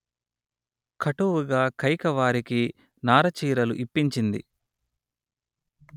కటువుగా కైక వారికి నారచీరలు ఇప్పించింది